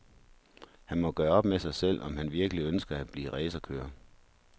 Han må gøre op med sig selv, om han virkelig ønsker at blive racerkører.